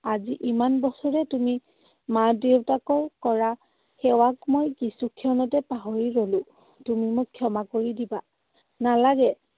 আজি ইমান বছৰে তুমি মা দেউতাকৰ কৰা সেৱাক মই কিছু ক্ষণতে পাহৰি গলো। তুমি মোক ক্ষমা কৰি দিবা। নালাগে।